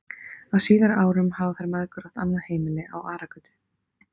Á síðari árum hafa þær mæðgur átt annað heimili á Aragötu.